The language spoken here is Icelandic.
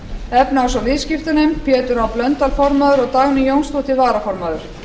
efnahags og viðskiptanefnd pétur h blöndal formaður og dagný jónsdóttir varaformaður